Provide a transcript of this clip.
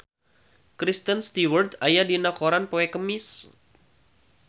Kristen Stewart aya dina koran poe Kemis